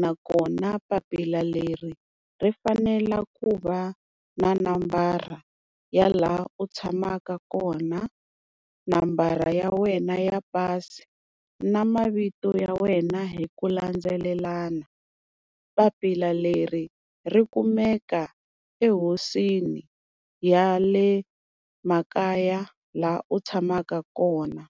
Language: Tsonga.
nakona papila leri ri fanela ku va na nambara ya laha u tshamaka kona, nambara ya wena ya pasi na mavito ya wena hi ku landzelelana. Papila leri ri kumeka ehosini ya le makaya laha u tshamaka kona.